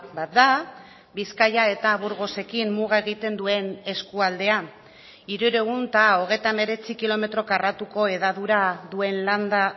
bat da bizkaia eta burgosekin muga egiten duen eskualdea hirurehun eta hogeita hemeretzi kilometro karratuko hedadura duen landa